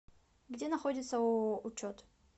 где находится ооо учет